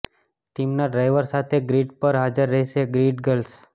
ટીમના ડ્રાઇવર સાથે ગ્રીડ પર હાજર રહેશે ગ્રીડ ગર્લ્સ